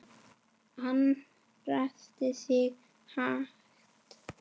Hann ræskti sig lágt.